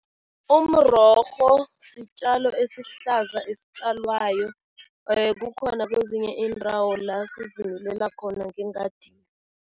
Umrorho sitjalo esihlaza esitjalwayo. Kukhona kwezinye iindawo la sizimilela khona ngengadini.